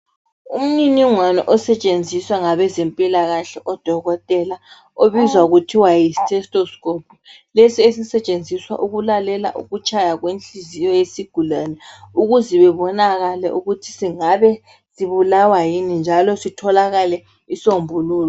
Umniningwane osetshenziswa ngabezempilakahle, odokotela. Obizwa kuthiwa yitestoscope. Lesi esisetshenziswa ukulalela ukutshaya kwenhliziyo yesigulane. Ukuze bebonakale ukuthi singabe sibulawa yikuyini, njalo sitholakale, isombululo.